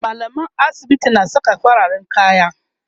mallaman asibiti na Saka fararen kaya